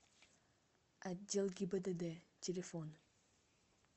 отдел гибдд телефон